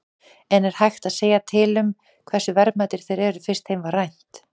En er hægt að segja til um hversu verðmætir þeir eru, fyrst þeim var rænt?